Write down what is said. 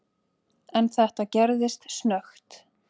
En þetta gerðist snöggt.